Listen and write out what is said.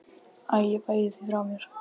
Æ ég bægi því frá mér.